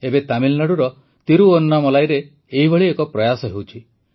ଏବେ ତାମିଲନାଡୁର ତିରୁୱନ୍ନାମଲାଇରେ ଏପରି ଏକ ପ୍ର୍ରୟାସ ହେଉଛି